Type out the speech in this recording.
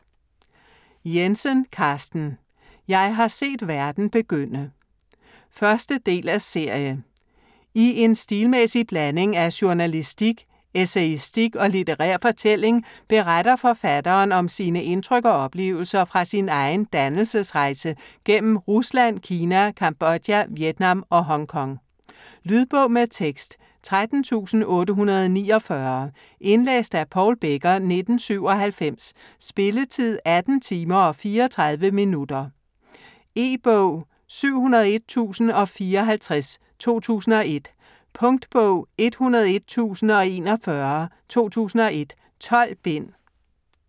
Jensen, Carsten: Jeg har set verden begynde 1. del af serie. I en stilmæssig blanding af journalistik, essayistik og litterær fortælling beretter forfatteren om sine indtryk og oplevelser fra sin egen "dannelsesrejse" gennem Rusland, Kina, Cambodia, Vietnam og Hong Kong. Lydbog med tekst 13849 Indlæst af Paul Becker, 1997. Spilletid: 18 timer, 34 minutter. E-bog 701054 2001. Punktbog 101041 2001. 12 bind.